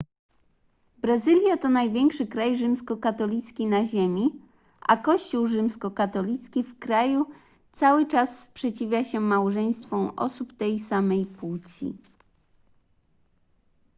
brazylia to największy kraj rzymskokatolicki na ziemi a kościół rzymskokatolicki w kraju cały czas sprzeciwia się małżeństwom osób tej samej płci